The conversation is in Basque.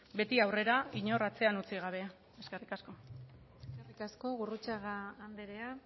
beti aurrera inor atzean utzi gabe eskerrik asko eskerrik asko gurrutxaga andrea